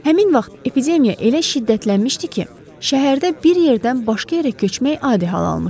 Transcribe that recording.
Həmin vaxt epidemiya elə şiddətlənmişdi ki, şəhərdə bir yerdən başqa yerə köçmək adi hal almışdı.